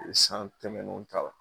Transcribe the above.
san tɛmɛnnenw t'a la.